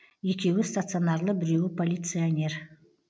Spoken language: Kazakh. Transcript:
екеуі стационарлы біреуі полиционер